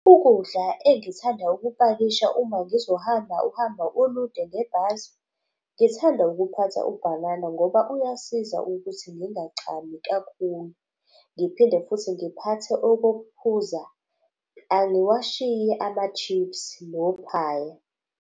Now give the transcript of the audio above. Ukudla engithanda ukupakisha uma ngizohamba uhamba olude ngebhasi, ngithanda ukuphatha ubhanana ngoba uyasiza ukuthi ngingachami kakhulu. Ngiphinde futhi ngiphathe okokuphuza, angiwashiyi ama-chips nophaya.